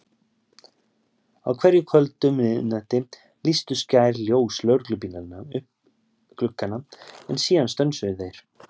Á hverju kvöldi um miðnætti lýstu skær ljós lögreglubílanna upp gluggana, en síðan stönsuðu þeir.